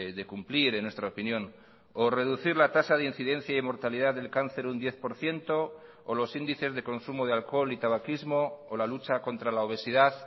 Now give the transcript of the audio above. de cumplir en nuestra opinión o reducir la tasa de incidencia y mortalidad del cáncer un diez por ciento o los índices de consumo de alcohol y tabaquismo o la lucha contra la obesidad